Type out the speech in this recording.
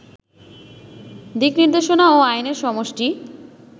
দিকনির্দেশনা ও আইনের সমষ্টি